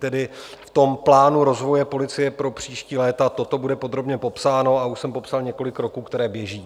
Tedy v tom plánu rozvoje policie pro příští léta toto bude podrobně popsáno a už jsem popsal několik roků, které běží.